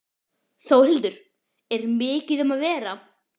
Þórhildur, er mikið um að vera?